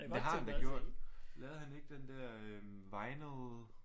Men det har han da gjort. Lavede han ikke den der øh Vinyl?